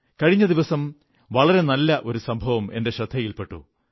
കഴിഞ്ഞ ദിവസം വളരെ നല്ല ഒരു സംഭവം എന്റെ ശ്രദ്ധയിൽ പെട്ടു